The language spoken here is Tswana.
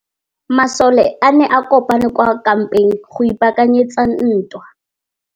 Masole a ne a kopane kwa kampeng go ipaakanyetsa ntwa.